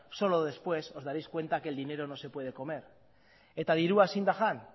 solo después os daréis cuenta que el dinero no se puede comer eta dirua ezin da jan